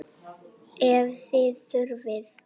Ef þið þurfið.